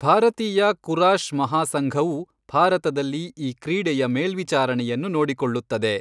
ಭಾರತೀಯ ಕುರಾಶ್ ಮಹಾಸಂಘವು ಭಾರತದಲ್ಲಿ ಈ ಕ್ರೀಡೆಯ ಮೇಲ್ವಿಚಾರಣೆಯನ್ನು ನೋಡಿಕೊಳ್ಳುತ್ತದೆ.